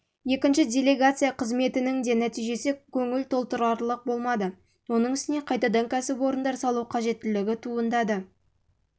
екінші делегация қызметінің де нәтижесі көңіл толтырарлық болмады оның үстіне қайтадан кәсіпорындар салу қажеттігі туындады сондықтан